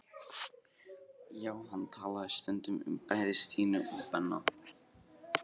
Já, hann talaði stundum um bæði Stínu og Benna.